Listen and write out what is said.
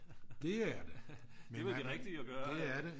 Det er det men det er det